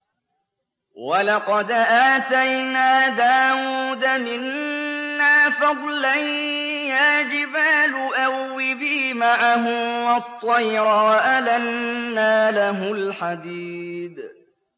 ۞ وَلَقَدْ آتَيْنَا دَاوُودَ مِنَّا فَضْلًا ۖ يَا جِبَالُ أَوِّبِي مَعَهُ وَالطَّيْرَ ۖ وَأَلَنَّا لَهُ الْحَدِيدَ